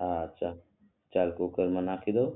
હા ચલ ચાલ કુકરમાં નાખી દવ